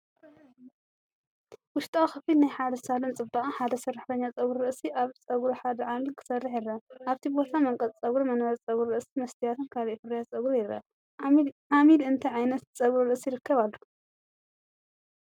ውሽጣዊ ክፍሊ ናይ ሓደ ሳሎን ጽባቐ። ሓደ ሰራሕተኛ ጸጉሪ ርእሲ ኣብ ጸጉሪ ሓደ ዓሚል ክሰርሕ ይረአ። ኣብቲ ቦታ መንቀጽ ጸጉሪ፡ መንበር ጸጉሪ ርእሲ፡ መስትያትን ካልእ ፍርያት ጸጉርን ይርአ። ዓሚል እንታይ ዓይነት ጸጉሪ ርእሲ ይረክብ ኣሎ?